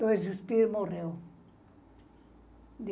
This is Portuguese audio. Dois espirros e morreu.